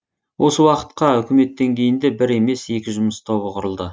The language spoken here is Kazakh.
осы уақытта үкімет деңгейінде бір емес екі жұмыс тобы құрылды